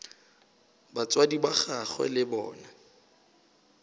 batswadi ba gagwe le bona